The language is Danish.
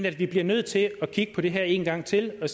at vi bliver nødt til at kigge på det her en gang til og